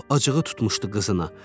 Lap acığı tutmuşdu qızına.